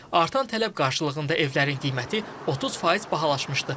Artan tələb qarşılığında evlərin qiyməti 30% bahalaşmışdı.